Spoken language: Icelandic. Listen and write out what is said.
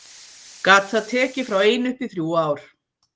Gat það tekið frá einu upp í þrjú ár.